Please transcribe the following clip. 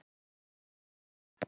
Því sjá!